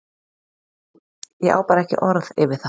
Ég á bara ekki orð yfir það.